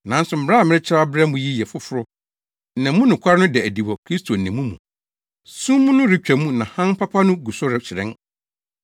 Nanso mmara a merekyerɛw abrɛ mo yi yɛ foforo na mu nokware no da adi wɔ Kristo ne mo mu. Sum no retwa mu na hann papa no gu so rehyerɛn.